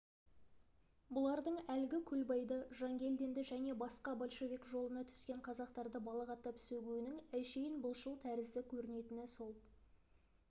бұлардың әлгі көлбай-ды жангелдинді және басқа большевик жолына түскен қазақтарды балағаттап сөгуінің әншейін былшыл тәрізді көрінетіні сол